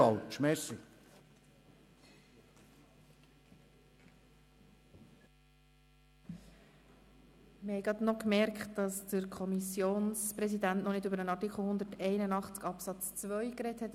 Wir haben festgestellt, dass Grossrat Wenger als Kommissionspräsident noch nicht zu Artikel 181 Absatz 2 gesprochen hat.